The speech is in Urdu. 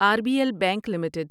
are B L bank limited